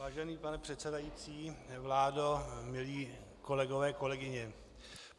Vážený pane předsedající, vládo, milí kolegové, kolegyně.